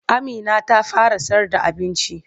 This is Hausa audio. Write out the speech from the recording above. Amina ta fara sayarda abinci.